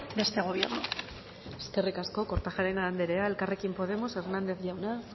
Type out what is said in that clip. de este gobierno eskerrik asko kortajarena anderea elkarrekin podemos hernández jauna